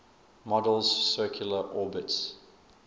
model's circular orbits